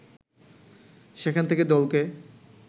সেখান থেকে দলকে